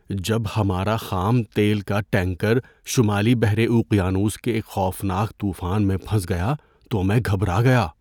جب ہمارا خام تیل کا ٹینکر شمالی بحر اوقیانوس کے ایک خوفناک طوفان میں پھنس گیا تو میں گھبرا گیا۔